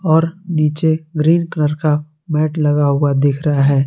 और नीचे green colour का मैट लगा हुआ दिख रहा है।